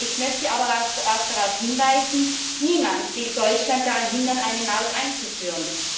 Ich möchte aber auch darauf hinweisen Niemand will Deutschland daran hindern, eine Maut einzuführen.